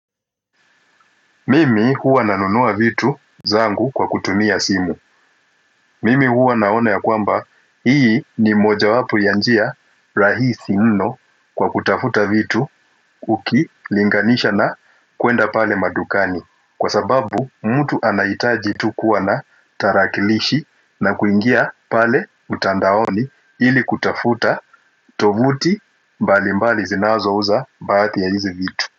Mimi huwa nanunua vitu zangu kwa kutumia simu Mimi huwa naona ya kwamba hii ni moja wapo ya njia rahisi muno kwa kutafuta vitu uki linganisha na kuenda pale madukani kwa sababu mtu anaitaji tu kuwa na tarakilishi na kuingia pale mtandaoni ili kutafuta tovuti mbali mbali zinazouza baadhi ya hizi vitu.